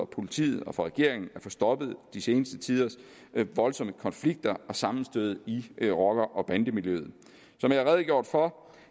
politiet og regeringen at få stoppet de seneste tiders voldsomme konflikter og sammenstød i rocker bande miljøet som jeg har redegjort for